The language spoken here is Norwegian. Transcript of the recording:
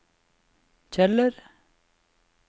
Kjeller